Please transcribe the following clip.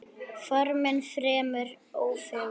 Formin fremur ófögur.